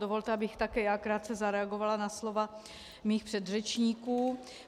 Dovolte, abych také já krátce zareagovala na slova svých předřečníků.